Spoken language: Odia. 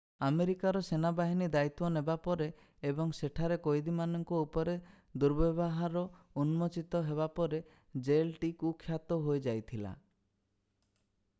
ଆମେରିକାର ସେନା ବାହିନୀ ଦାୟିତ୍ଵ ନେବା ପରେ ଏବଂ ସେଠାରେ କଏଦୀମାନଙ୍କ ଉପରେ ଦୁର୍ବ୍ୟବହାର ଉନ୍ମୋଚିତ ହେବା ପରେ ଜେଲଟି କୁଖ୍ୟାତ ହୋଇଯାଇଥିଲା